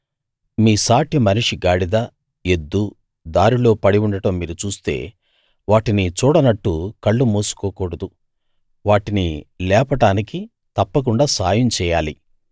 మీ సాటి మనిషి గాడిద ఎద్దు దారిలో పడి ఉండడం మీరు చూస్తే వాటిని చూడనట్టు కళ్ళు మూసుకోకూడదు వాటిని లేపడానికి తప్పకుండా సాయం చెయ్యాలి